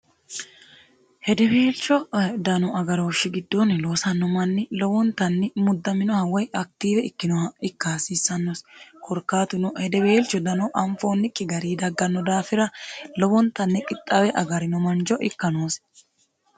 hedeweelcho dano agarooshshi giddoonni loosanno manni lowontanni muddaminoha woy aktiiwe ikkinoha ikka hasiissannosi korkaatuno hedeweelcho dano anfoonnikki gari dagganno daafira lowontanni qixxaawe agarino mancho ikka noosi